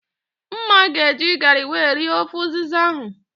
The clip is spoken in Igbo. Mma ga eji garị wee rie ofe ụzịza ahụ